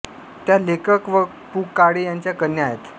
त्या लेखक व पु काळे यांच्या कन्या आहेत